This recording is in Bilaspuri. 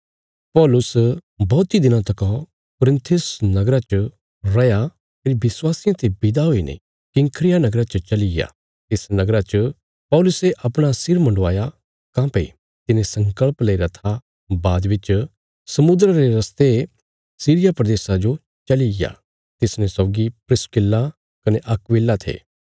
पौलुस बौहतीं दिनां तका कुरिन्थ नगरा च रैया फेरी विश्वासियां ते विदा हुईने किंख्रिया नगरा च चलिग्या तिस नगरा च पौलुसे अपणा सिर मुंडवाया काँह्भई तिने संगल़प लेईरा था बाद बिच समुद्रा रे रस्ते सीरिया प्रदेशा जो चलिग्या तिसने सौगी प्रिस्किल्ला कने अक्विला थे